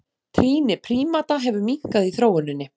Trýni prímata hefur minnkað í þróuninni.